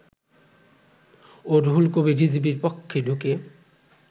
ও রুহুল কবির রিজভীর কক্ষে ঢুকে